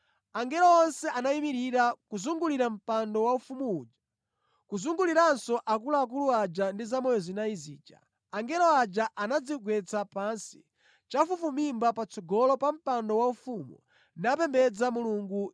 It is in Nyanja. “Angelo onse anayimirira kuzungulira mpando waufumu uja, kuzunguliranso akuluakulu aja ndi zamoyo zinayi zija. Angelo aja anadzigwetsa pansi chafufumimba patsogolo pa mpando waufumu napembedza Mulungu.